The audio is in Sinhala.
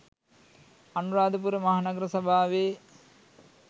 අනුරාධපුර මහ නගර සභාවේ